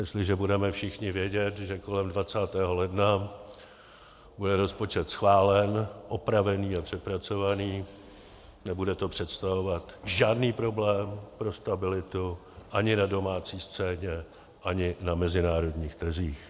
Jestliže budeme všichni vědět, že kolem 20. ledna bude rozpočet schválen - opravený a přepracovaný - nebude to představovat žádný problém pro stabilitu ani na domácí scéně, ani na mezinárodních trzích.